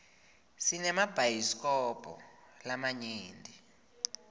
sinemabhayisilobho lamanyenti